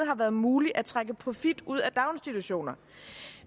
har været muligt at trække profit ud af daginstitutioner